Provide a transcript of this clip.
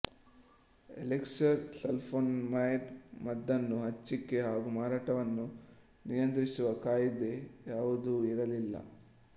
elixir sulfonamide ಮದ್ದನ್ನು ಹಂಚಿಕೆ ಹಾಗೂ ಮಾರಾಟವನ್ನು ನಿಯಂತ್ರಿಸುವ ಕಾಯಿದೆ ಯಾವುದೂ ಇರಲಿಲ್ಲ